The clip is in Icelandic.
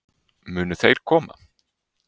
Munu þeir koma?